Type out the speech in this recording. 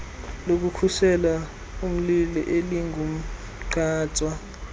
lokukhusela umlilo elingumgqatswa